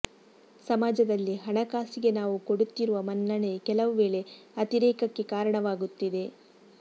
ಸಮಾಜದಲ್ಲಿ ಹಣಕಾಸಿಗೆ ನಾವು ಕೊಡುತ್ತಿರುವ ಮನ್ನಣೆ ಕೆಲವು ವೇಳೆ ಅತಿರೇಕಕ್ಕೆ ಕಾರಣವಾಗುತ್ತಿದೆ